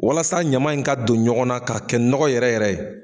Walasa ɲaman in ka don ɲɔgɔnna ka kɛ nɔgɔ yɛrɛ yɛrɛ ye